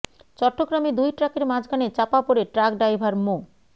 চট্টগ্রামে দুই ট্রাকের মাঝখানে চাপা পড়ে ট্রাক ড্রাইভার মো